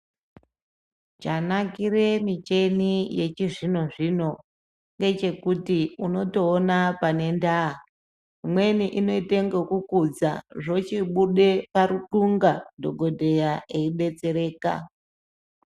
Chanakire micheni yechizvino zvino ngechekuti unotoona pane ndaa imweni inoite ngekukudza zvochibude paruxunga dhokodheya eibetsereka.